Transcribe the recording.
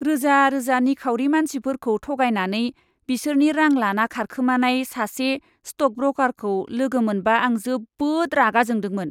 रोजा रोजा निखावरि मानसिफोरखौ थगायनानै बिसोरनि रां लाना खारखोमानाय सासे स्ट'क ब्रकारखौ लोगो मोनबा आं जोबोद रागा जोंदोंमोन।